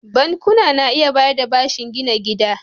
Bankuna na iya bayar da bashin gina gida.